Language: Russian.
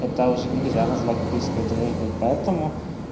это уже нельзя назвать близкой дружбы поэтому